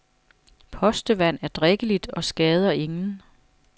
Postevand er drikkeligt og skader ingen.